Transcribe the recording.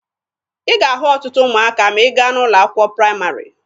Ị ga-ahụ ọtụtụ ụmụaka ma ị gaa n'ụlọ akwụkwọ praịmarị.